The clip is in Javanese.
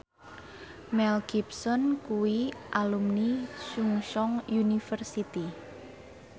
Mel Gibson kuwi alumni Chungceong University